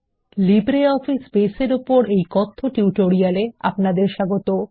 LibreOffice base এর উপর এই কথ্য টিউটোরিয়াল এ আপনাদের স্বাগত